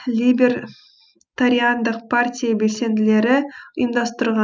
либертариандық партия белсенділері ұйымдастырған